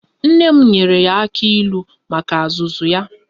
Nne m nyere ya aka ilu maka azụzu ya